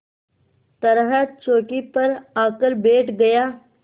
तरह चौकी पर आकर बैठ गया